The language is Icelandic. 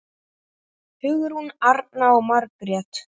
Hugrún Arna og Margrét Dögg.